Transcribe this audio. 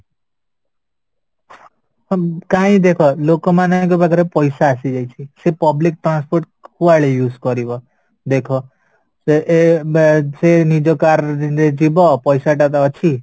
ଉଁ କାଇଁ ଦେଖ ଲୋକମାନଙ୍କ ପାଖରେ ପଇସା ଆସି ଯାଇଛି ସେ public transport କୁଆଡେ use କରିବା ଦେଖ ସେ ଏ ନିଜ car ରେ ଯିବା ପଇସା ଟା ତ ଅଛି